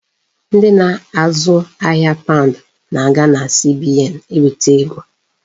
Ndị na-azụ ahia paund na-aga na CBN eweta ego.